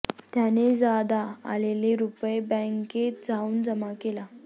त्याने ज्यादा आलेले रुपये बँकेत जाऊन जमा केले